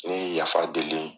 N ye yafa deli